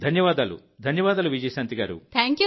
ధన్యవాదాలు ధన్యవాదాలు విజయశాంతి గారూ